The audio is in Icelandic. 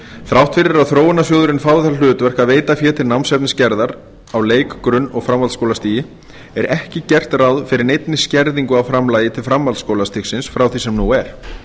þrátt fyrir að þróunarsjóðurinn fái það hlutverk að veita fé til námsefnisgerðar á leik grunn og framhaldsskólastigi er ekki gert ráð fyrir neinni skerðingu á framlagi til framhaldsskólastigsins frá því sem nú er